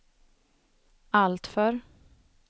alltför